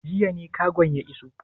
Jiya ne kagon ya iso?